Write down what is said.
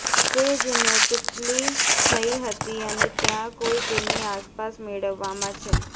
તે જિનેટિકલી થઇ હતી અને ત્યાં કોઈ તેની આસપાસ મેળવવામાં છે